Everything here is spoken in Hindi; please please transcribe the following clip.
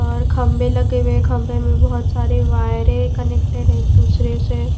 और खंभे लगे हुए है खंभे में बहुत सारे वायरे कनेक्टेड हैं एक दूसरे से।